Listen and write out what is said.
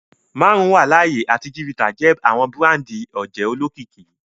Marun wa laaye ati chivita jẹ awọn burandi oje olokiki.